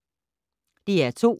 DR2